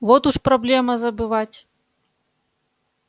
вот уж проблема забывать